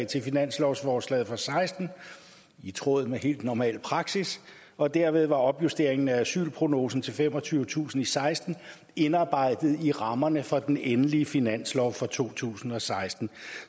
til finanslovsforslaget og seksten i tråd med helt normal praksis og dermed var opjusteringen af asylprognosen til femogtyvetusind i seksten indarbejdet i rammerne for den endelige finanslov for to tusind og seksten